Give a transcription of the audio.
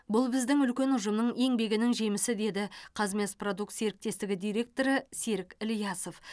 бұл біздің үлкен ұжымның еңбегінің жемісі деді казмясопродукт серіктестігі директоры серік ілиясов